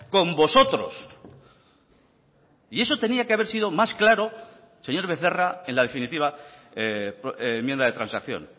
con vosotros y eso tenía que haber sido más claro señor becerra en la definitiva enmienda de transacción